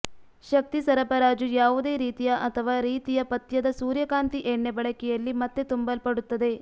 ಶಕ್ತಿ ಸರಬರಾಜು ಯಾವುದೇ ರೀತಿಯ ಅಥವಾ ರೀತಿಯ ಪಥ್ಯದ ಸೂರ್ಯಕಾಂತಿ ಎಣ್ಣೆ ಬಳಕೆಯಲ್ಲಿ ಮತ್ತೆ ತುಂಬಲ್ಪಡುತ್ತದೆ